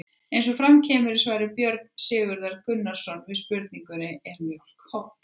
Eins og fram kemur í svari Björns Sigurðar Gunnarssonar við spurningunni Er mjólk holl?